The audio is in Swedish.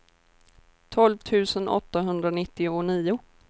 tolv tusen åttahundranittionio